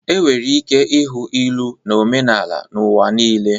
Enwere ike ịhụ ilu na omenala n'ụwa niile.